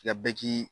Nka bɛɛ k'i